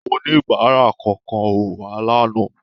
Oníbàárà kankan ò wá lánàá.